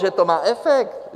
Že to má efekt?